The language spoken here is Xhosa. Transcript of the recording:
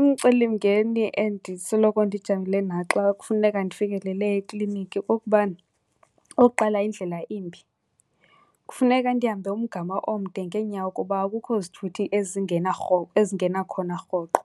Umcelimngeni endisoloko ndijamile nawo xa kufuneka ndifikelele ekliniki ukuba okokuqala indlela imbi. Kufuneka ndihambe umgama omde ngeenyawo kuba akukho zithuthi ezingena , ezingena khona rhoqo.